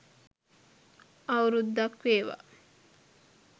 අවුරුද්දක් වේවා.